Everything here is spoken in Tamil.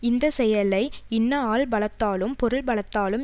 இந்த செயலை இன்ன ஆள் பலத்தாலும் பொருள் பலத்தாலும்